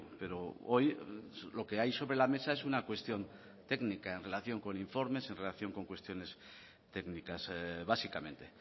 pero hoy lo que hay sobre la mesa es una cuestión técnica en relación con informes en relación con cuestiones técnicas básicamente